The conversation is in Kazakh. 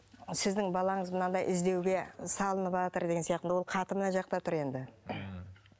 сіздің балаңыз мынандай іздеуге салыныватыр деген сияқты ол хаты мына жақта тұр енді ммм